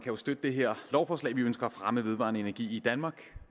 jo støtte det her lovforslag vi ønsker at fremme vedvarende energi i danmark